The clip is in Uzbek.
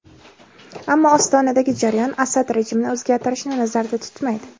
Ammo Ostonadagi jarayon Asad rejimini o‘zgartirishni nazarda tutmaydi.